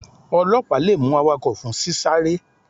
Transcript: Ọlọpa le mu awakọ fun sí sárè.